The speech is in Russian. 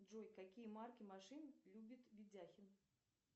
джой какие марки машин любит видяхин